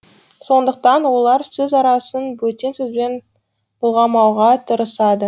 сондықтан олар сөз арасын бөтен сөзбен былғамауға тырысады